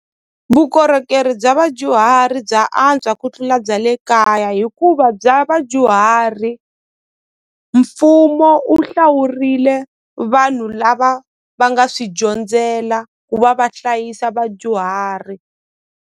Vukorhokeri bya vadyuhari bya antswa ku tlula bya le kaya hikuva bya vadyuhari mfumo wu hlawurile vanhu lava va nga swi dyondzela ku va va hlayisa vadyuhari.